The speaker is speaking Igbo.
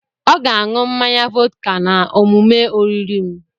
Ọ ga a ṅụọ mmanya vọdka na omume oriri m.